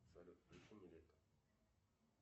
салют включи нилето